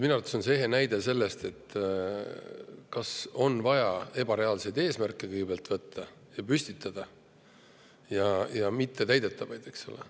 Minu arvates on see ehe näide sellest, kas on vaja püstitada ebareaalseid ja mittetäidetavaid eesmärke, eks ole.